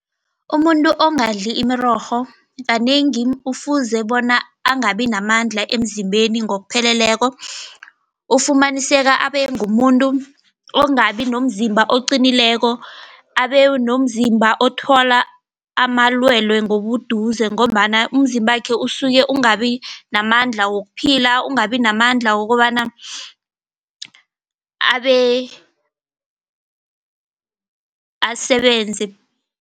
Umuntu ongadli imirorho kanengi ufuze bona angabi namandla emzimbeni ngokupheleleko. Ufumaniseka abe ngumuntu ongabi nomzimba oqinileko abe nomzimba othola amalwelwe ngobuduze, ngombana umzimbakhe usuke ungabi namandla wokuphila, ungabi namandla wokobana asebenze.